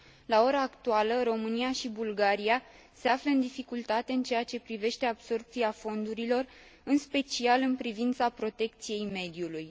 La ora actuală, România și Bulgaria se află în dificultate în ceea ce privește absorbția fondurilor, în special în privința protecției mediului.